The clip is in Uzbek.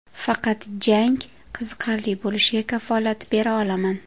Faqat jang qiziqarli bo‘lishiga kafolat bera olaman.